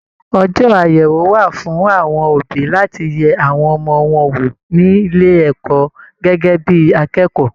Ọjọ àyẹwò wà fún àwọn òbí láti yẹ awọn ọmọ wọn wo nílé ẹ̀kọ́ gẹgẹ bíi akẹ́kọ̀ọ́.